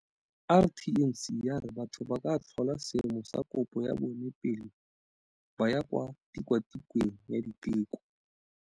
RTMC ya re batho ba ka tlhola seemo sa kopo ya bona pele ba ya kwa tikwatikweng ya diteko.